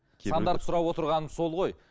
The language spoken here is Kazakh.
сандарды сұрап отырғаным сол ғой